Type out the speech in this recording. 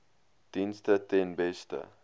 dienste ten beste